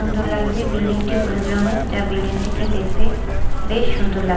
সুন্দর লাগছে বিল্ডিং -টি হলুদ রঙের যা বিল্ডিং -টিকে দেখতে বেশ সুন্দর লাগ--